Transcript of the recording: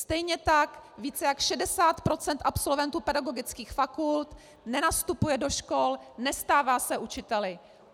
Stejně tak více jak 60 % absolventů pedagogických fakult nenastupuje do škol, nestává se učiteli.